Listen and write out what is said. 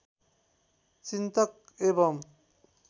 चिन्तक एवम्